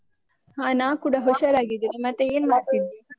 ಹಾ ನಾನ್ ಕೂಡ ಹುಷಾರಾಗಿದ್ದೇನೆ, ಮತ್ತೆ ಏನ್ ಮಾಡ್ತಿದ್ದಿ?